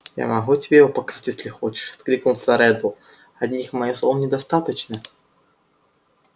я могу тебе его показать если хочешь откликнулся реддл одних моих слов недостаточно